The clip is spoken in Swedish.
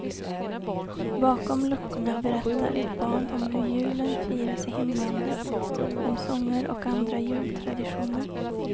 Bakom luckorna berättar ett barn om hur julen firas i hemlandet, om sånger och andra jultraditioner.